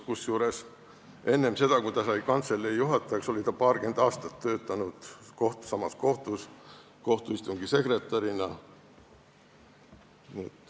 Kusjuures enne seda, kui ta sai kantselei juhatajaks, oli ta paarkümmend aastat töötanud samas kohtus kohtuistungi sekretärina.